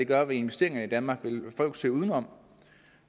gøre ved investeringerne i danmark vil folk søge uden om